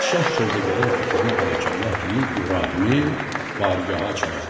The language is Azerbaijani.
Padşah sövdəgərin fikrinə bərəkallah deyib İbrahimi bargaha çağırdırdı.